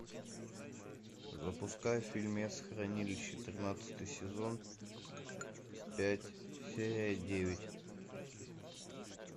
запускай фильмец хранилище тринадцатый сезон пять серия девять